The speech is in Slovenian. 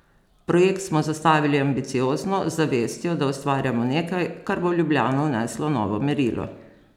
Projekt smo zastavili ambiciozno, z zavestjo, da ustvarjamo nekaj, kar bo v Ljubljano vneslo novo merilo.